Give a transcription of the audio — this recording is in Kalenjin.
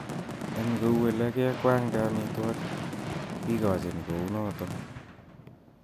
En kou ele kekwankwangde amitwogik kikochin kounoton.